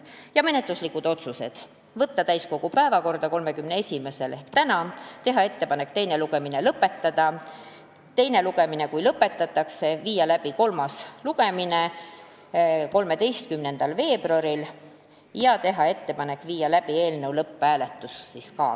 Ja menetluslikud otsused: võtta eelnõu täiskogu päevakorda 31. jaanuariks ehk tänaseks, teha ettepanek teine lugemine lõpetada ning kui teine lugemine lõpetatakse, saata eelnõu kolmandale lugemisele 13. veebruariks ning ühtlasi viia läbi lõpphääletus.